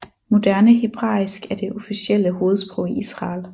Moderne hebraisk er det officielle hovedsprog i Israel